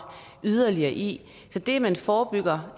yderligere i så det at man forebygger